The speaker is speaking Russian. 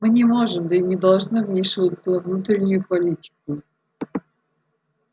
мы не можем да и не должны вмешиваться во внутреннюю политику